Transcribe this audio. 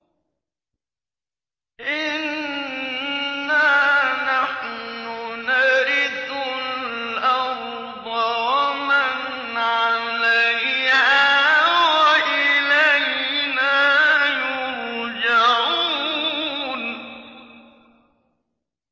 إِنَّا نَحْنُ نَرِثُ الْأَرْضَ وَمَنْ عَلَيْهَا وَإِلَيْنَا يُرْجَعُونَ